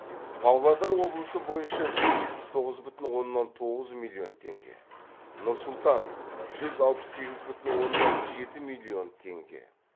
павлодар облысы бойынша жүз жетпіс тоғыз бүтін оннан тоғыз миллион теңге нұр сұлтан жүз алпыс сегіз бүтін оннан жеті миллион теңге